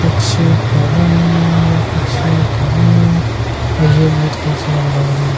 कुछ पढ़ रही हैंया कुछ कर रही हैंऔर ये बहुत खूबसूरत लग रहे हैं।